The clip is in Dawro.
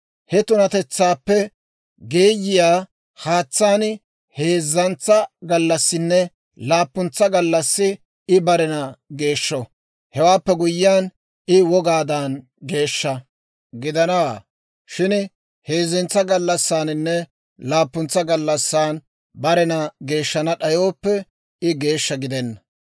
He tunatetsaappe geeyiyaa haatsaan heezzantsa gallassinne laappuntsa gallassi, I barena geeshsho; hewaappe guyyiyaan, I wogaadan geeshsha gidanawaa; shin heezzantsa gallassaaninne laappuntsa gallassan barena geeshshana d'ayooppe, I geeshsha gidenna.